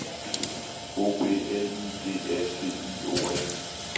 O B L I G A T I O N